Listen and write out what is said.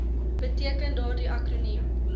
beteken daardie akroniem